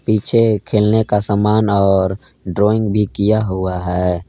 पीछे खेलने का समान और ड्रॉइंग भी किया हुआ है।